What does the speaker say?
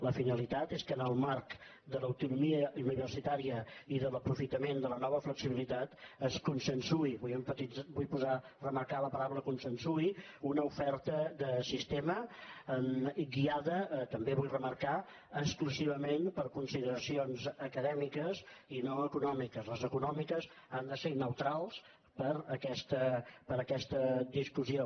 la finalitat és que en el marc de l’autonomia universitària i de l’aprofitament de la nova flexibilitat es consensuï vull remarcar la paraula consensuï una oferta de sistema i guiada també vull remarcar la exclusivament per consideracions acadèmiques i no econòmiques les econòmiques han de ser neutrals per a aquesta discussió